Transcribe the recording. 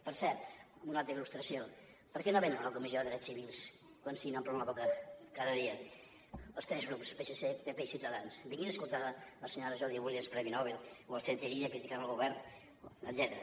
per cert una altra il·lustració per què no venen a la comissió de drets civils quan se n’omplen la boca cada dia els tres grups psc pp i ciutadans vinguin a escoltar a la senyora jody williams premi nobel o al centre irídia criticant el govern etcètera